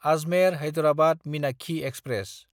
Ajmer-Hyderabad Meenakshi express